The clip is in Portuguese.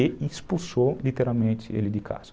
E expulsou, literalmente, ele de casa.